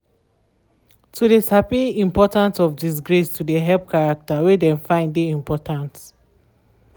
to de sabi important of disgrace to de help character wey dem find de important.